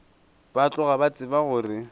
ba tloga ba tseba gore